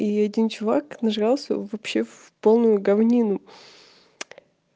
и один чувак нажрался вообще в полную говнину